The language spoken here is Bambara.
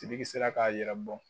Sibiki sera k'a yɛrɛ bɔ